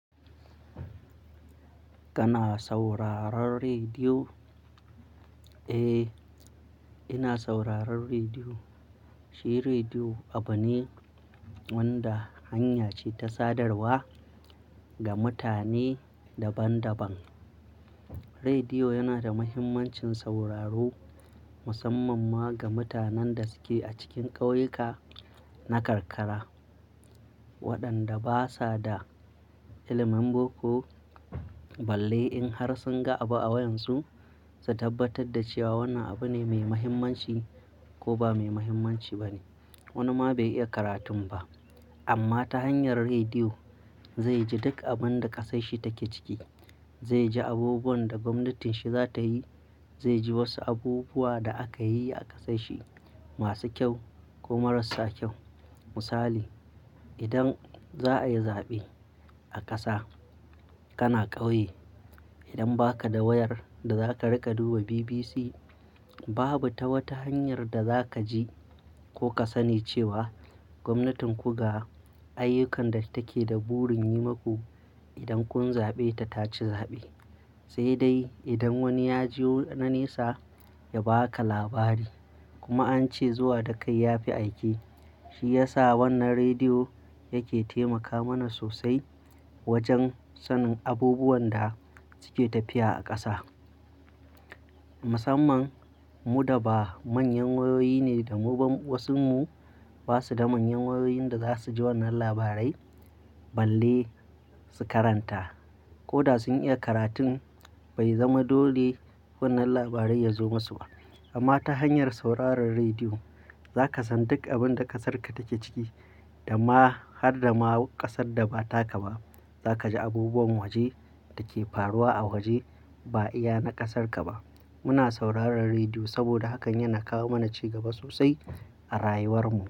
Kana sauraron rediyo? Eh, ina sauraron rediyo. Shi rediyo abu ne wanda hanya ce ta sadarwa ga mutane daban-daban. Rediyo yana da muhimmancin sauraro, musamman ma ga mutanen da suke a cikin ƙauyuka na karkara waɗanda basa da ilimin boko. Balle in har sun ga abu a wayan su, su tabbatar da cewa wannan abu ne mai mahimmanci ko ba mai mahimmanci ba ne. Wani ma bai iya karatun ba amma ta hanyar rediyo zai ji duk abin da ƙasar shi take ciki. Zai ji abubuwan da gwamnatin shi za ta yi. Zai ji wasu abubuwa da aka yi a ƙasar shi masu kyau ko marassa kyau. Misali, idan za a yi zaɓe a ƙasa kana ƙauye. Idan ba ka da wayar da za ka riƙa duba BBC babu ta wata hanyar da za ka ji ko ka sani cewa gwamnatin ku ga ayyukan da take da burin yi maku idan kun zaɓe ta taci zaɓe. Sai dai idan wani ya je wa na nesa ya ba ka labari kuma an ce zuwa da kai ya fi aike. Shi yasa wannan rediyo yake taimaka mana sosai wajen sanin abubuwan da suke tafiya a ƙasa. Musamman mu da ba manyan wayoyi ne da mu wasunmu ba su da manyan wayoyin da za su ji wannan labarai balle su karanta. Ko da sun iya karatun bai zama dole wannan labarai ya zo musu ba. Amma ta hanyar sauraron rediyo za ka san duk abin da ƙasarka take ciki da ma har da ma ƙasar da ba taka ba. Za ka ji abubuwan waje dake faruwa a waje ba iya na ƙasarka ba. Muna sauraron rediyo saboda hakan yana kawo mana ci gaba sosai a rayuwar mu.